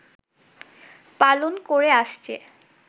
পালন করে আসছে